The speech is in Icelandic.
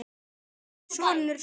Ertu sonur Snorra?